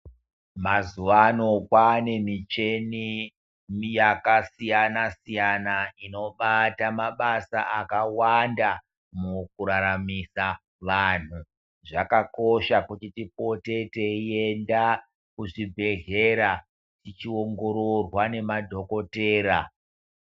Mazuva ano kwaane michini yakasiyana siyana inobata mabasa akawanda mukuraramisa vantu zvakakosha kuti tipote teienda kuzvibhedhlera tichiongororwa nemadhokodheya